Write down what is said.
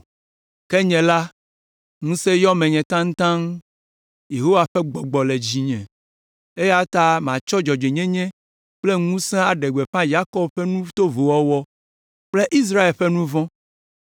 Ke nye la, ŋusẽ yɔ menye taŋtaŋ, Yehowa ƒe Gbɔgbɔ le dzinye eya ta matsɔ dzɔdzɔenyenye kple ŋusẽ aɖe gbeƒã Yakob ƒe nu tovowo wɔwɔ kple Israel ƒe nu vɔ̃.